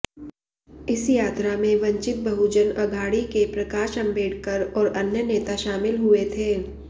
इस यात्रा में वंचित बहुजन अघाड़ी के प्रकाश अंबेडकर और अन्य नेता शामिल हुए थे